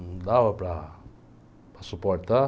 Não dava para suportar.